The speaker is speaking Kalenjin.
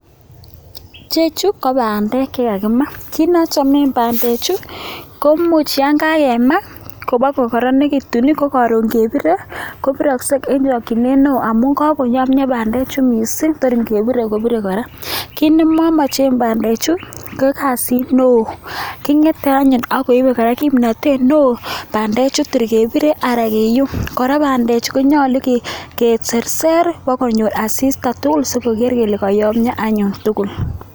Chechu ko bandek chekakima, kit ne achome bandechu ko much yan kakema ipkokororonitu ko karon kebire kobiroksei eng chachinet neo amu kakoyomio bandechu missing bar ngebire kobire kora, kit nemamache bandechu ko kasit neo kingetei ak koibei kora kimnatet neo bandechu ter kebire anan kiyum, kora bandechu konyolu kiserser bo konyo asista tugul sikeker kele koyomio anyun tugul.